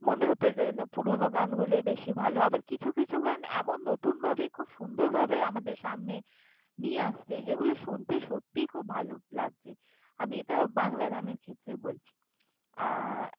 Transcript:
মনে হতো যেন পুরোনো গানগুলোই বেশি ভাল। আবার কিছু কিছু গান এমন নতুনভাবে খুব সুন্দরভাবে আমাদের সামনে নিয়ে আসছে, যেগুলো শুনতে সত্যিই খুব ভাল লাগছে। আমি এটা বাংলা গানের ক্ষেত্রে বলছি, আ~।